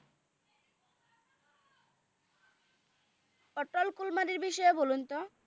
অতল কুরবানিএ বিষয়ে বলুন ত